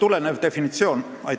Aitäh küsimuse eest!